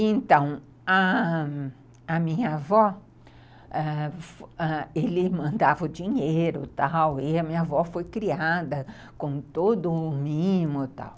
Então, a a minha avó ãh ãh, ele mandava o dinheiro e tal, e a minha avó foi criada com todo o mimo e tal.